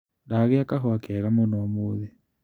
Ndagĩa kahũa kega mũno ũmũthĩ.